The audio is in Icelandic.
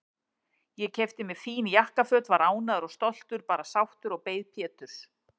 Ég keypti mér fín jakkaföt, var ánægður og stoltur, bara sáttur, og beið Péturs.